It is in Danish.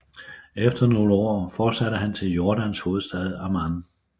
Efter nogle år fortsatte han til Jordans hovedstad Amman